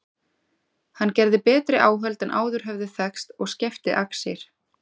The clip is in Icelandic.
Hann gerði betri áhöld en áður höfðu þekkst og skefti axir.